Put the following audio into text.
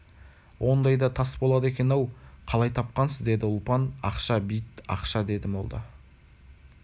ондай да тас болады екен-ау қалай тапқансыз деді ұлпан ақша бит ақша деді молда